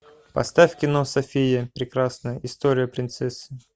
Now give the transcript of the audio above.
поставь кино софия прекрасная история принцессы